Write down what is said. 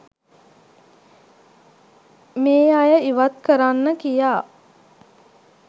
මේ අය ඉවත් කරන්න කියා